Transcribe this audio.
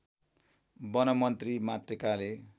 वनमन्त्री मातृकाले